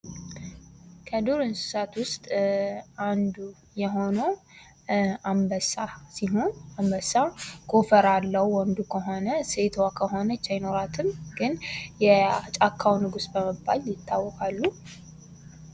ከዱር እንስሳት ውስጥ አንዱ የሆነው አንበሳ ሲሆን አንበሳ ጎፈር አለው ወንዱ ከሆነ ፣ ሴቷ ከሆነች ይኖራትም ግን የጫካው ንጉስ በመባል ይታወቃሉ ።